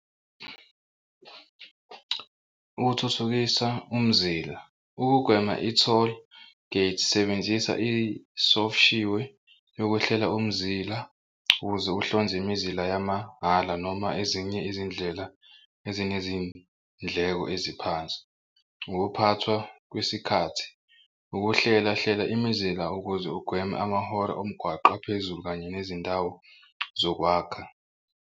Ukuthuthukisa umzila ukugwema i-tollgate sebenzisa isoshiwe yokuhlela umzila ukuze ukuhlonze imizila yamabhala noma ezinye izindlela ezinezindleko eziphansi. Ukuphathwa kwesikhathi ukuhlela hlela imizila ukuze ugweme amahora omgwaqo aphezulu kanye nezindawo zokwakha.